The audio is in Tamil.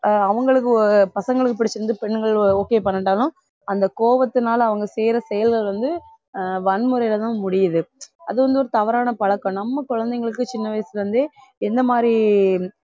ஆஹ் அவங்களுக்கு ஒ~ பசங்களுக்கு பிடிச்சிருந்து பெண்கள் o~ okay பண்ணட்டாலும் அந்த கோவத்தினால அவங்க செய்யற செயல்கள் வந்து ஆஹ் வன்முறைலதான் முடியுது அது வந்து ஒரு தவறான பழக்கம் நம்ம குழந்தைங்களுக்கு சின்ன வயசுல இருந்தே எந்த மாறி